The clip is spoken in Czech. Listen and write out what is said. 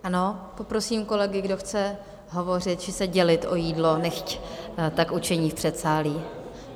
Ano, poprosím kolegy, kdo chce hovořit či se dělit o jídlo, nechť tak učiní v předsálí.